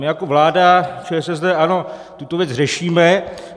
My jako vláda ČSSD a ANO tuto věc řešíme.